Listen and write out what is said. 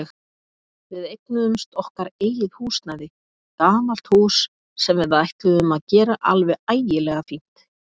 Við eignuðumst okkar eigið húsnæði, gamalt hús sem við ætluðum að gera alveg ægilega fínt.